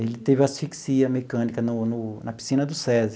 Ele teve asfixia mecânica no no na piscina do SESI.